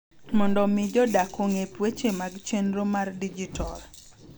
Mondo omi jodak ong’e weche mag chenro mar dijital.